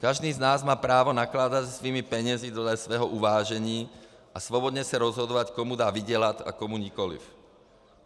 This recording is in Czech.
Každý z nás má právo nakládat se svými penězi dle svého uvážení a svobodně se rozhodovat, komu má vydělat a komu nikoliv.